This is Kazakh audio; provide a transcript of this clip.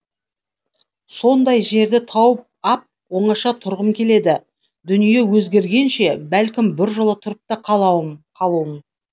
сондай жерді тауып ап оңаша тұрғым келеді дүние өзгергенше бәлкім біржола тұрып та қалуым